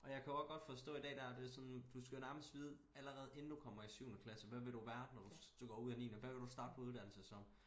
Og jeg kan og godt forstå i dag der er det sådan du skal jo nærmest vide allerede inden du kommer i syvende klasse hvad vil du være når du går ud af niende hvad vil du starte på uddannelse som